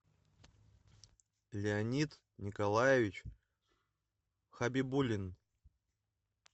леонид николаевич хабибуллин